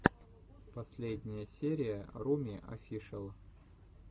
последняя серия руми офишэл